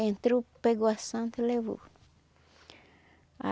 Entrou, pegou a santa e levou.